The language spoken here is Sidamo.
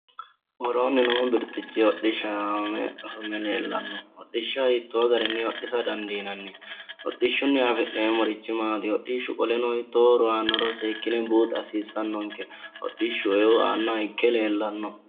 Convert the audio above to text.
Worooni noo birxichi hodhishsha yamame afame leellano hodhishsha hiitto garini hodhissa dandiinanni, hodhishshunni affi'neemmorichi maati, hoshishshu qoleno hiitto horo aanoro seekkine buuxa hasiisanonke hodhishshu eo aanoha ikke leellano.